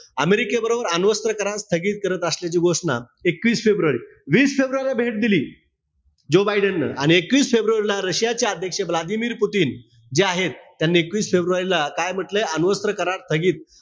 अमेरिके बरोबर अणुअस्त्र करार स्थगित करीत असल्याची घोषणा एकवीस फेब्रुवारी, वीस फेब्रुवारीला भेट दिली. जो बायडेन न आणि एकवीस फेब्रुवारीला रशियाचे अध्यक्ष व्लादिमिर पुतीन जे आहेत त्यांनी एकवीस फेब्रुवारीला काय म्हण्टलंय? अणुअस्त्र करार स्थगित,